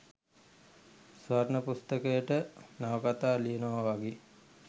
ස්වර්ණ පුස්තකයට නවකතා ලියනවා වගේ